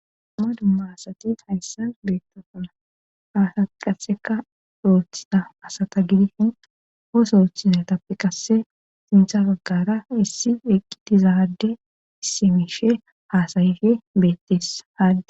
dumma dumma asati hayssan beettosoona ha asati qasseka oothida asata gidishin osooththiza tappi qasse sintha baggara issi eqqitizaade issimishe haasayife beettes haadd